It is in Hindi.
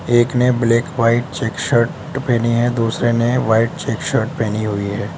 एक ने ब्लैक व्हाइट चेक शर्ट पहनी है दूसरे ने व्हाइट चेक शर्ट पहनी हुई है।